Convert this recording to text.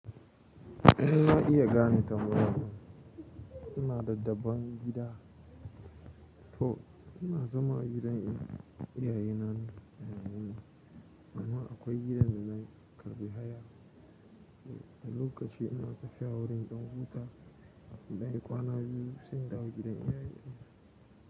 In na iya gane tambayanku, kuna da daban gida. To ina zama a gidan iyayena ne. Amma akwai gidan da na karɓi haya. Lokaci ina tafiya wurin in dan buta, in ɗan yi kwana biyu sai in dawo gidan iyaye na.